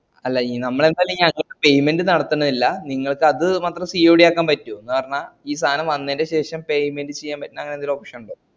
അല്ല ഈ നമ്മൾ ന്റാലു ഈ payment നടത്തന്നില്ല നിങ്ങള്ക് അത് മാത്രം COD ആക്കാൻ പറ്റുഓ ന്ന് പറഞ്ഞാ ഈ സാനം വന്നേന്റെ ശേഷം payment ചെയ്യാൻ പറ്റുന്ന അങ്ങനന്തേലു option ഇണ്ടാവു